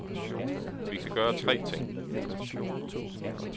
Vi kan gøre tre ting.